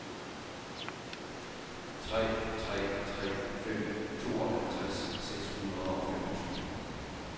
tre tre tre fem tooghalvtreds seks hundrede og femogtyve